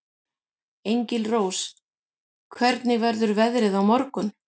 Engilrós, hvernig verður veðrið á morgun?